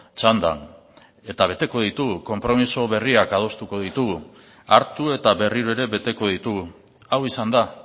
txandan eta beteko ditugu konpromiso berriak adostuko ditugu hartu eta berriro ere beteko ditugu hau izan da